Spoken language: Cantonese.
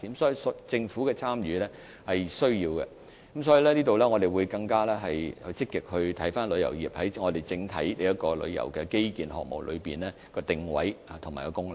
所以，政府的參與是必需的，我們也會更積極檢視旅遊業在整體旅遊基建項目的定位和功能。